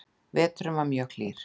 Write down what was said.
Veturinn var mjög hlýr